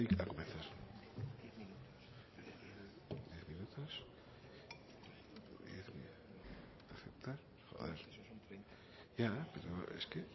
ya ya e i a comenzar ta joder ya pero es